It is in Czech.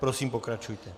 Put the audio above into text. Prosím, pokračujte.